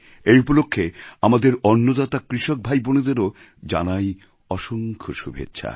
এই উপলক্ষে আমাদের অন্নদাতা কৃষক ভাইবোনেদেরও জানাই অসংখ্য শুভেচ্ছা